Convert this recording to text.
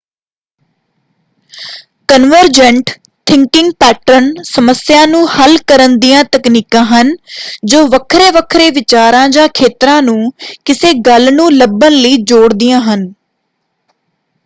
Convergent thinking pattern ਸਮੱਸਿਆ ਨੂੰ ਹੱਲ ਕਰਨ ਦੀਆਂ ਤਕਨੀਕਾਂ ਹਨ ਜੋ ਵੱਖਰੇ-ਵੱਖਰੇ ਵਿਚਾਰਾਂ ਜਾਂ ਖੇਤਰਾਂ ਨੂੰ ਕਿਸੇ ਗੱਲ ਨੂੰ ਲੱਭਣ ਲਈ ਜੋੜਦੀਆਂ ਹਨ।